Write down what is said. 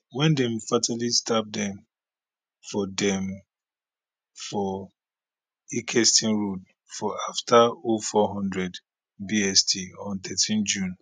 wen dem fatally stab dem for dem for ilkeston road just afta 0400 bst on thirteen june